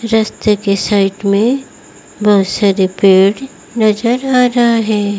रस्ते के साइड में बहुत सारे पेड़ नजर आ रहा है।